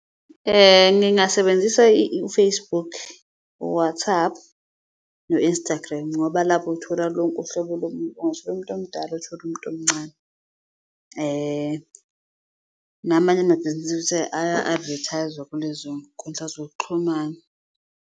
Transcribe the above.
Ngingasebenzisa u-Facebook, u-WhatsApp no-Instagram ngoba lapho uthola lonke uhlobo lomuntu ungathola umuntu omdala, uthole umuntu omncane. Namanye amabhizinisi futhi aya-advertise-wa kulezo nkundla zokuxhumana.